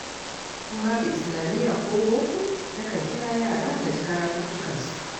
In babu Islamiyya ko boko nakan kira yara na ji karatuttukansu.